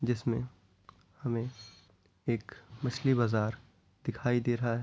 जिसमें हमें एक मछली बाजार दिखाई दे रहा है।